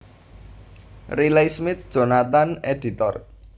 Riley Smith Jonathan editor